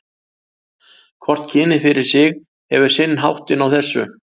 Hvort kynið fyrir sig hefur sinn háttinn á þessu.